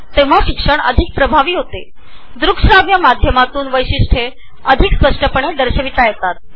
द्रुकश्राव्य म्हणजेच ऑडिओ-व्हिडिओच्या माध्यमातून वैशिष्ट्ये अधिक स्पष्टपणे दाखवता येतात